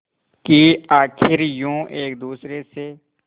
कि आखिर यूं एक दूसरे से